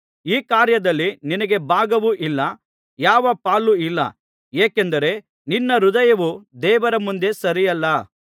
ಈ ಕಾರ್ಯದಲ್ಲಿ ನಿನಗೆ ಭಾಗವೂ ಇಲ್ಲ ಯಾವ ಪಾಲೂ ಇಲ್ಲ ಏಕೆಂದರೆ ನಿನ್ನ ಹೃದಯವು ದೇವರ ಮುಂದೆ ಸರಿಯಲ್ಲ